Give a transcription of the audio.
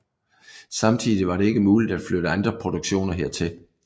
Samtidig var det ikke muligt at flytte andre produktioner hertil